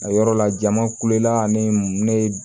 A yɔrɔ la jama kulela ni ne ye